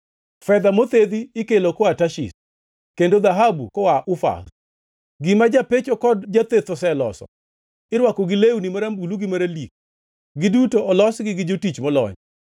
Fedha mothedhi ikelo koa Tarshish kendo dhahabu koa Ufaz. Gima japecho kod jatheth oseloso irwako gi lewni marambulu gi maralik, giduto olosgi gi jotich molony.